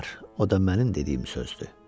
O da mənim dediyim sözdür.